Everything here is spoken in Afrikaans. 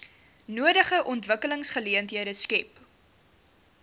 nodige ontwikkelingsgeleenthede skep